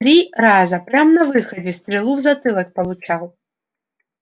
три раза прям на выходе стрелу в затылок получал